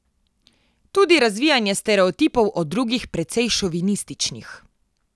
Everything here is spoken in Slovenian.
Tudi razvijanje stereotipov o drugih, precej šovinističnih.